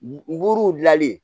Buruw gilali